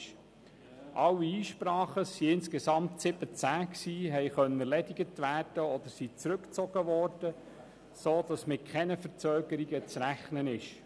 Alle 17 Einsprachen konnten erledigt werden oder wurden zurückgezogen, sodass nun mit keinen Verzögerungen zu rechnen ist.